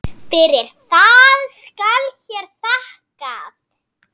Fyrir það skal hér þakkað.